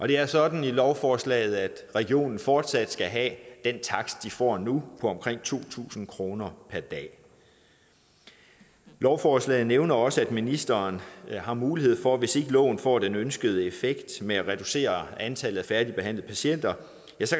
det er sådan i lovforslaget at regionen fortsat skal have den takst de får nu på omkring to tusind kroner per dag lovforslaget nævner også at ministeren har mulighed for hvis ikke loven får den ønskede effekt med at reducere antallet af færdigbehandlede patienter